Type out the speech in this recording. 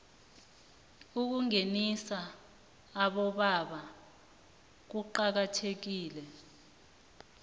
ukungenisa abobaba kuqakathekile